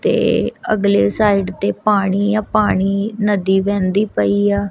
ਤੇ ਅਗਲੇ ਸਾਈਡ ਤੇ ਪਾਣੀ ਯਾਂ ਪਾਣੀ ਨਦੀ ਵਹਿੰਦੀ ਪਈਆ।